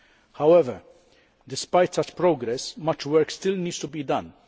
However, despite such progress, much work still needs to be done.